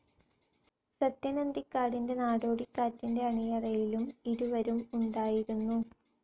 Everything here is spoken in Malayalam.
സത്യൻ അന്തിക്കാടിന്റെ നാടോടിക്കാറ്റിന്റെ അണിയറയിലും ഇരുവരും ഉണ്ടായിരുന്നു.